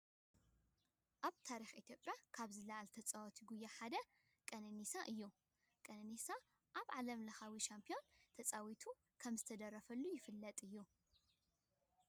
ኣብ ታሪክ ኢትዮጵያ ካብ ዝለዓሉ ተፃወትቲ ጉያ እቲ ሓደ ቀነኒሳ እዩ። ቀነኒሳ ኣብ ዓለም ሻምፒዮና ተዓዊቱ ከም ዝተደረፈሉ ይፍለጥ እዩ።